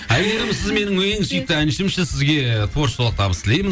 әйгерім сіз менің ең сүйікті әншімсіз сізге творчествалық табыс тілеймін